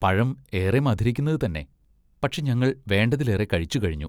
പഴം ഏറെ മധുരിക്കുന്നത് തന്നെ, പക്ഷെ ഞങ്ങൾ വേണ്ടതിലേറെ കഴിച്ചുകഴിഞ്ഞു.